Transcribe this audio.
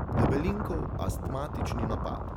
Debelinkov astmatični napad.